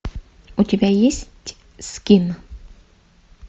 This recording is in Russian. у тебя есть скин